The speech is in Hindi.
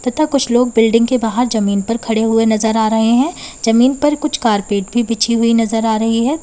तथा कुछ लोग बिल्डिंग के बाहर जमीन पर खड़े हुए नजर आ रहे है जमीन पर कुछ कारपेट भी बिछी हुई नजर आ रही है।